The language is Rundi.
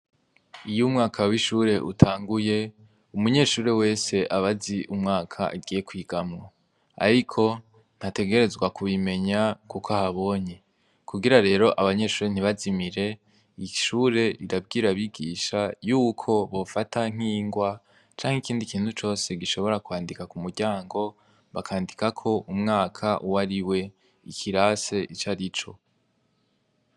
Iyo Umwaka w'ishure Utanguy umunyeshure aba azi Umwaka agiye gutanguriramwo. Kugira ngo umunyeshure ntazimire ishure rira bwira abigisha yuko bofata ningwa canke ikindi icarico cose gishobora kwandika kumuryango bakandikako Umwaka uwarixo nikirasi icarico.